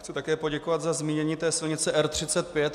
Chci také poděkovat za zmínění silnice R35.